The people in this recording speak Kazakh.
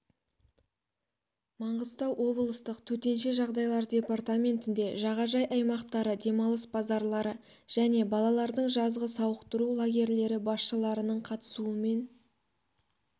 маңғыстау облыстық төтенше жағдайлар департаментінде жағажай аймақтары демалыс базалары және балалардың жазғы сауықтыру лагерлері басшыларының қатысуымен